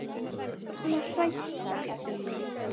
Orðnar hræddar um mig.